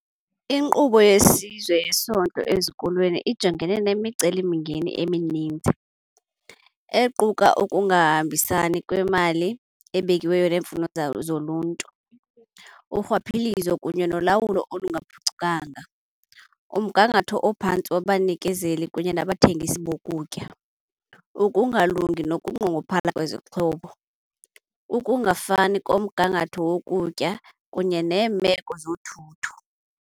INkqubo yeSizwe yeSondlo eZikolweni ijongene nemicelimngeni eminintsi equka ukungahambisani kwemali ebekiweyo neemfuno zoluntu. Urhwaphilizo kunye nolawulo olungaphucukanga, umgangatho ophantsi wabanikezeli kunye nabathengisi bokutya, ukungalungi nokunqongophala kwezixhobo, ukungafani komgangatho wokutya kunye neemeko zothutho.